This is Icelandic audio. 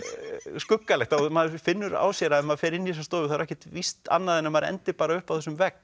skuggalegt maður finnur á sér að ef maður fer inn í þessa stofu er ekkert víst annað en að maður endi uppi á þessum vegg